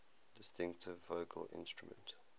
distinctive vocal instrument